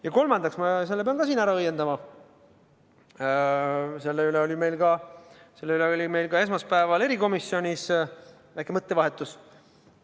Ja kolmandaks, selle pean ma siin samuti ära õiendama, selle üle oli meil esmaspäeval erikomisjonis väike mõttevahetus.